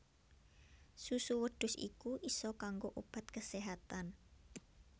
Susu wedhus iku isa kanggo obat keséhatan